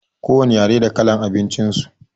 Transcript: Ko wane yare da kalar abincin su.